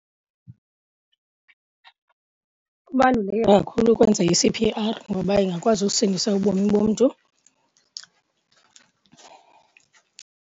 Kubaluleke kakhulu ukwenza i-C_P_R ngoba ingakwazi usindisa ubomi bomntu.